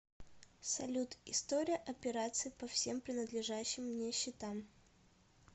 салют история операций по всем принадлежащим мне счетам